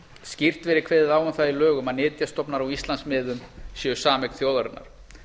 skýrt verið kveðið á um það í lögum að nytjastofnar á íslandsmiðum séu sameign þjóðarinnar